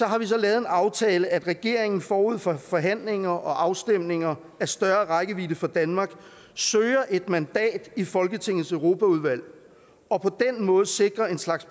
har vi så lavet en aftale om at regeringen forud for forhandlinger og afstemninger af større rækkevidde for danmark søger et mandat i folketingets europaudvalg og på den måde sikrer en slags